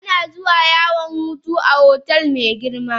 Ana zuwa yawan hutu a otel mai girma.